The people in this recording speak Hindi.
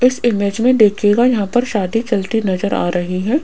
इस इमेज में देखिएगा यहां पर शादी चलती नजर आ रही है।